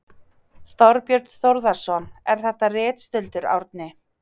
Þorbjörn Þórðarson: Er þetta ritstuldur, Árni?